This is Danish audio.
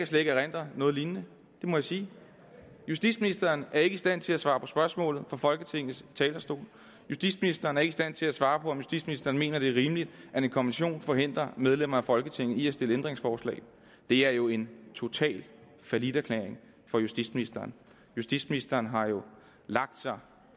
kan erindre noget lignende det må jeg sige justitsministeren er ikke i stand til at svare på spørgsmålet fra folketingets talerstol justitsministeren er ikke i stand til at svare på om justitsministeren mener at det er rimeligt at en konvention forhindrer medlemmer af folketinget i at stille ændringsforslag det er jo en total falliterklæring for justitsministeren justitsministeren har jo lagt sig